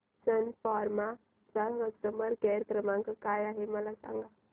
सन Pharma चा customer care क्रमांक काय आहे मला सांगा